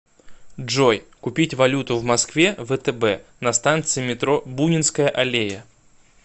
джой купить валюту в москве втб на станции метро бунинская аллея